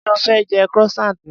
Ṣé o fẹ́ jẹ croissant ni?